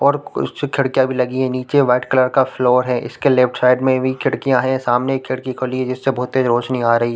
--और कुछ खिड़कियाँ भी लगी है नीचे वाइट कलर का फ्लोर है इसके लेफ्ट साइड में भी खिड़कियाँ है सामने एक खिड़की खुली है जिसे बहुत तेज रोशनी आ रही है।